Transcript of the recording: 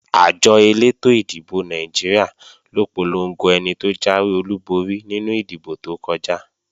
Àjọ elétò ìdìbò Nàìjíríà ló polongo ẹni tó jáwé olúborí nínú ìdìbò tó kọjá